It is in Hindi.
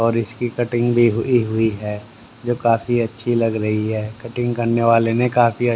और इसकी कटिंग भी हुई हुई है जो काफी अच्छी लग रही हैं कटिंग करने वाले ने काफी--